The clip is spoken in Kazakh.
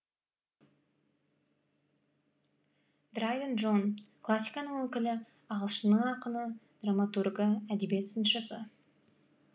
драйден джон классиканың өкілі ағылшынның ақыны драматургі әдебиет сыншысы